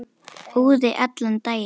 Úði allan daginn.